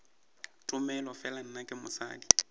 tomele fela nna ke mosadi